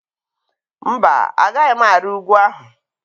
Mba, Agaghị m ari ugwu ahụ.